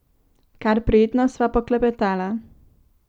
Kar prijetno sva poklepetala.